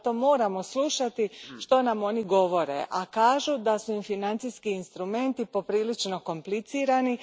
Zato moramo slušati što nam oni govore, a kažu da su im financijski instrumenti poprilično komplicirani.